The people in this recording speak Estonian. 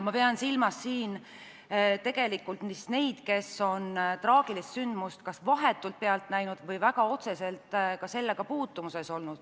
Ma pean siin silmas neid, kes on traagilist sündmust kas vahetult pealt näinud või muul moel sellega väga otseselt kokku puutunud.